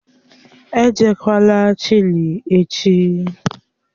Èjekwalà Chile echi!